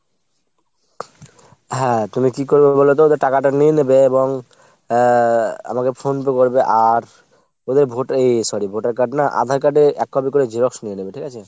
হ্যাঁ তুমি কী করবে বলতো ওদের টাকাটা নিয়ে নেবে এবং আহ আমাকে phone করে বলবে আর ওদের voter এই sorry voter card না আঁধার card এর এক copy করে xerox নিয়ে নেবে ঠিক আছে ?